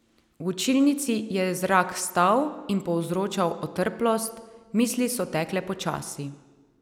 V učilnici je zrak stal in povzročal otrplost, misli so tekle počasi.